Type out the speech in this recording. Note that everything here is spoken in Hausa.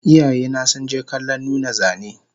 Iyayena sunje kallon nuna zane